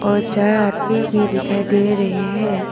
और चार आदमी भी दिखाई दे रहे हैं।